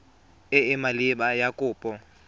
e e maleba ya kopo